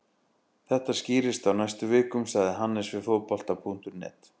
Þetta skýrist á næstu vikum, sagði Hannes við Fótbolta.net.